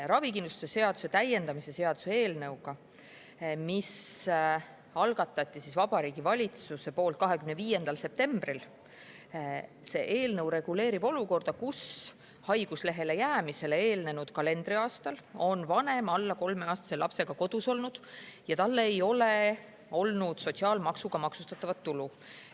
Ravikindlustuse seaduse täiendamise seaduse eelnõu, mille Vabariigi Valitsus algatas 25. septembril, reguleerib olukorda, kus haiguslehele jäämisele eelnenud kalendriaastal on vanem alla kolmeaastase lapsega kodus olnud ja tal ei ole olnud sotsiaalmaksuga maksustatavat tulu.